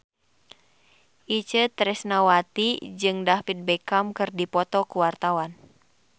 Itje Tresnawati jeung David Beckham keur dipoto ku wartawan